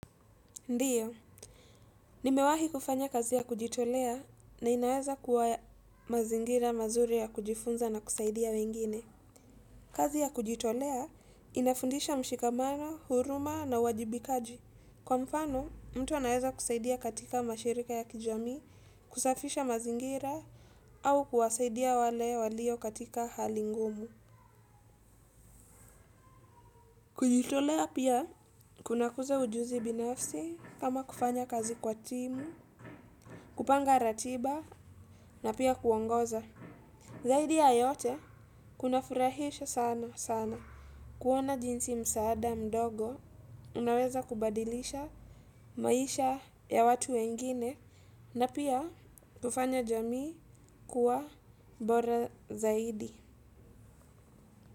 Ndiyo, nimewahi kufanya kazi ya kujitolea na inaweza kuwa ya mazingira mazuri ya kujifunza na kusaidia wengine. Kazi ya kujitolea inafundisha mshikamano, huruma na uwajibikaji. Kwa mfano, mtu anaweza kusaidia katika mashirika ya kijamii, kusafisha mazingira, au kuwasaidia wale walio katika hali ngumu. Kujitolea pia, kunakuza ujuzi binafsi kama kufanya kazi kwa timu, kupanga ratiba na pia kuongoza. Zaidi ya yote kunafurahisha sana sana. Kuona jinsi msaada mdogo unaweza kubadilisha maisha ya watu wengine. Na pia hufanya jamii kuwa bora zaidi.